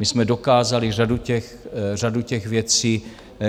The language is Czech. My jsme dokázali řadu těch věcí,